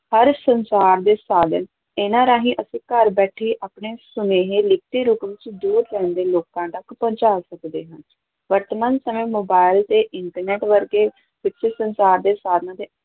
ਹਰ ਸੰਚਾਰ ਦੇ ਸਾਧਨ ਇਹਨਾਂ ਰਾਹੀਂ ਅਸੀਂ ਘਰ ਬੈਠੇ ਸੁਨੇਹੇਂ ਲਿਖਤੀ ਰੂਪ ਵਿੱਚ ਦੂਰ ਰਹਿੰਦੇ ਲੋਕਾਂ ਤੱਕ ਪਹੁੰਚਾ ਸਕਦੇ ਹਾਂ, ਵਰਤਮਾਨ ਸਮੇਂ ਮੋਬਾਇਲ ਤੇ internet ਵਰਗੇ ਵਿੱਚ ਸੰਸਾਰ ਦੇ ਸਾਧਨ ਦੇ